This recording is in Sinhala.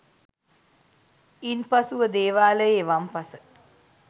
ඉන්පසුව දේවාලයේ වම් පස